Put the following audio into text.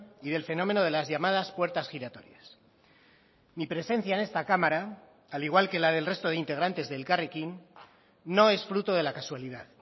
y del fenómeno de las llamadas puertas giratorias mi presencia en esta cámara al igual que la del resto de integrantes de elkarrekin no es fruto de la casualidad